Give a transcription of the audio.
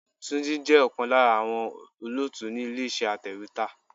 Túnjí jẹ́ ọ̀kan lára àwọn olóòtú ni ilé iṣẹ́ atèwétà.